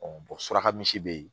suraka misi be yen